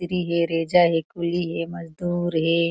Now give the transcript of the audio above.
मिस्त्री हे रेजा हे कुली हे मजदूर हे।